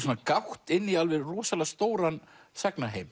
gátt inn í rosalega stóran